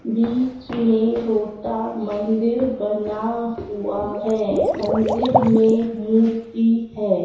बीच में छोटा मंदिर बना हुआ है मंदिर में मूर्ति है।